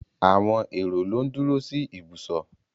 Àwọn èrò ló ń duro sí ìbùsọ̀.